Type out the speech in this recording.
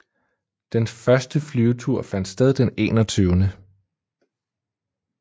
Den første flyvetur fandt sted den 21